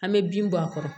An bɛ bin bɔ a kɔrɔ